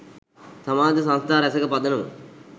සමාජ සංස්ථා රැසක පදනම